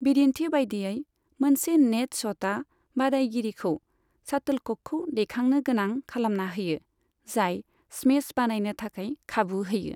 बिदिन्थि बायदियै, मोनसे नेट शटआ बादायगिरिखौ शाटोलककखौ दैखांनो गोनां खालामना होयो, जाय स्मेश बानायनो थाखाय खाबु होयो।